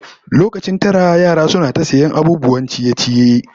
Lokacin tara yaran suna ta sayan abubuwan ciye-ciye